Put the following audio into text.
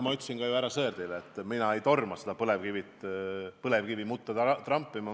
Ma ütlesin ju ka härra Sõerdile, et mina ei torma põlevkivi mutta trampima.